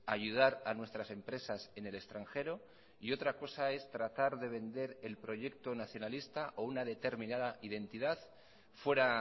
ayudar a nuestras empresas en el extranjero y otra cosa es tratar de vender el proyecto nacionalista o una determinada identidad fuera